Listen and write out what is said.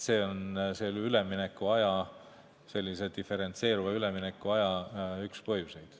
See on üleminekuaja, sellise diferentseeruva üleminekuaja üks põhjuseid.